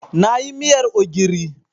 Na yi miyar ogiri.